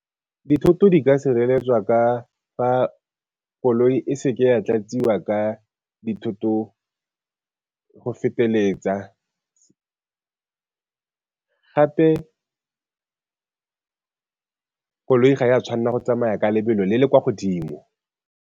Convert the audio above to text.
Dithoto di ka sireletswa ka fa koloi e se ke ya tlatsiwa ka dithoto go feteletsa, gape koloi ga ya tshwanela go tsamaya ka lebelo le le kwa godimo.